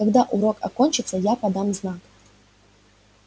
когда урок окончится я подам знак